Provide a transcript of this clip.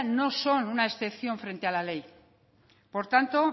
no son una excepción frente a la ley por tanto